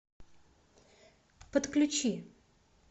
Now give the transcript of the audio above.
подключи